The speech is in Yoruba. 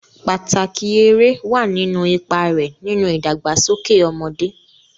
Pàtàkì eré wà nínú ipa rẹ̀ nínú ìdàgbàsókè ọmọdé.